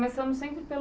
Começamos sempre pelo